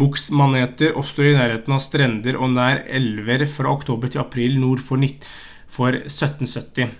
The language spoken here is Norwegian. boksmaneter oppstår i nærheten av strender og nær elver fra oktober til april nord for 1770.